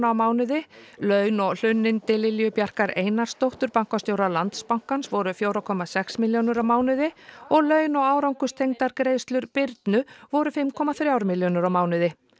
á mánuði laun og hlunnindi Lilju Bjarkar Einarsdóttur bankastjóra Landsbankans voru fjögur komma sex milljónir á mánuði og laun og árangurstengdar greiðslur Birnu voru fimm komma þrjár milljónir á mánuði